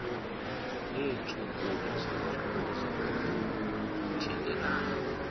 neetshukumo zolondolozo oluthintelayo